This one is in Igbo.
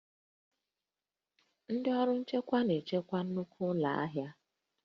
Ndị ọrụ nchekwa na-echekwa nnukwu ụlọ ahịa